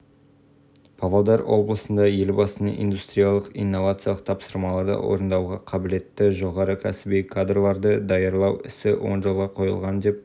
мұнда жерасты дүмпулерінен ацех провинциясындағы ғимарттар қирап қалды ал мәліметінше индонезияда астана уақыты бойынша сағат жер